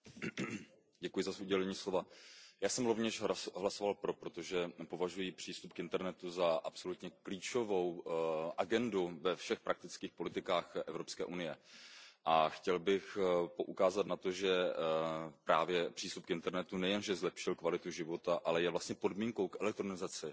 Paní předsedající, já jsem rovněž hlasoval pro, protože považuji přístup k internetu za absolutně klíčovou agendu ve všech praktických politikách Evropské unie, a chtěl bych poukázat na to, že právě přístup k internetu nejenže zlepšil kvalitu života, ale je vlastně podmínkou k elektronizaci